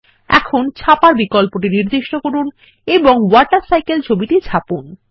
এখন ছাপার বিকল্পটি নির্দিষ্ট করুন এবং ওয়াটারসাইকেল ছবিটি ছাপুন